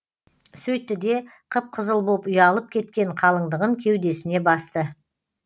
сөйтті де қып қызыл боп ұялып кеткен қалыңдығын кеудесіне басты